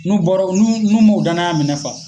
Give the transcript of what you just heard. N'u bɔrɔ nu n'u m'u danaya minɛ fa.